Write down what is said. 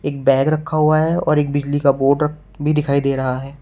एक बैग रखा हुआ है और एक बिजली का बोर्ड भी दिखाई दे रहा है।